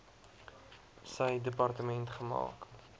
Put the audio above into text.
sy departement gemaak